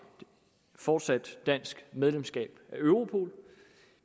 fortsat dansk medlemskab af europol